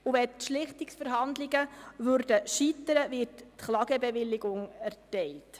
Sollten die Schlichtungsverhandlungen scheitern, würde eine Klagebewilligung erteilt.